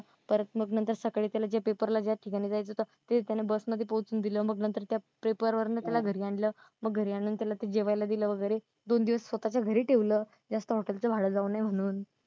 परत मग नंतर सकाळी ज्या पेपर ला ठिकाणी जायचं होत. ते त्यानं बस मध्ये पोहचून दिलं त्याला घरी आणलं मग घरी आणून त्याला जेवायला दिल वगैरे दोन दिवस स्वतःच्या घरी ठेवलं जास्त hotel च भाडं जाऊ नये म्हणून.